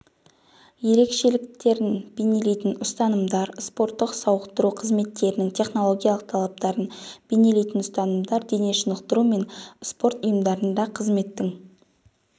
ерекшеліктерін бейнелейтін ұстанымдар спорттық-сауықтыру қызметтерінің технологиялық талаптарын бейнелейтін ұстанымдар дене шынықтыру мен спорт ұйымдарында қызметтің